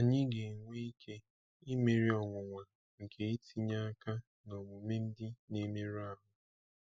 Anyị ga-enwe ike imeri ọnwụnwa nke itinye aka n'omume ndị na-emerụ ahụ.